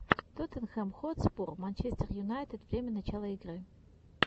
тоттенхэм хотспур манчестер юнайтед время начала игры